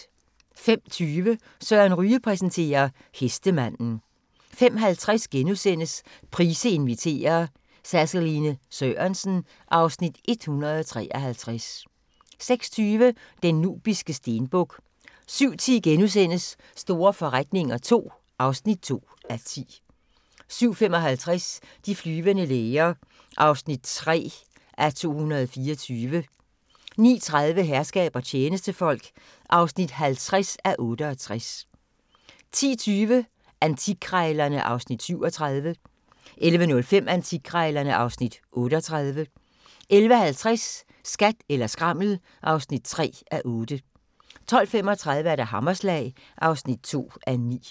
05:20: Søren Ryge præsenterer: Hestemanden 05:50: Price inviterer - Saseline Sørensen (Afs. 153)* 06:20: Den nubiske stenbuk 07:10: Store forretninger II (2:10)* 07:55: De flyvende læger (3:224) 09:30: Herskab og tjenestefolk (50:68) 10:20: Antikkrejlerne (Afs. 37) 11:05: Antikkrejlerne (Afs. 38) 11:50: Skat eller skrammel (3:8) 12:35: Hammerslag (2:9)